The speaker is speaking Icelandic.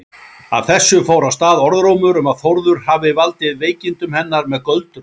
Af þessu fór af stað orðrómur um að Þórður hefði valdið veikindum hennar með göldrum.